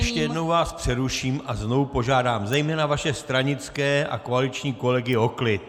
Ještě jednou vás přeruším a znovu požádám zejména vaše stranické a koaliční kolegy o klid!